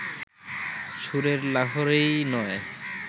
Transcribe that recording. সুরের লহরীই নয়